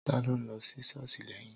Tàlo ń lo si sọosi lèni?